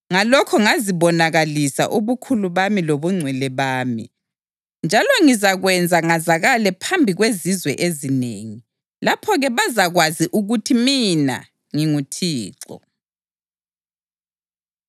Ngalokho ngizabonakalisa ubukhulu bami lobungcwele bami, njalo ngizakwenza ngazakale phambi kwezizwe ezinengi. Lapho-ke bazakwazi ukuthi mina nginguThixo.’ ”